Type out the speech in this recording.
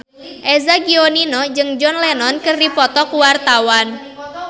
Eza Gionino jeung John Lennon keur dipoto ku wartawan